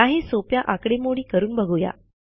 काही सोप्या आकडेमोडी करून बघूया